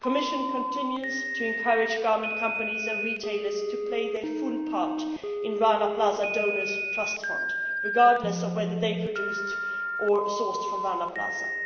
The Commission continues to encourage garment companies and retailers to play their full part in the Rana Plaza Donors Trust Fund, regardless of whether they produced or sourced from Rana